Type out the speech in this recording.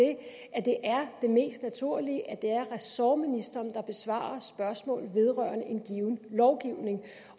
at det er det mest naturlige at det er ressortministeren der besvarer spørgsmål vedrørende en given lovgivning